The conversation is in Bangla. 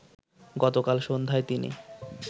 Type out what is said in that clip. গতকাল সন্ধ্যায় তিনি